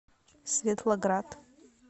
светлоград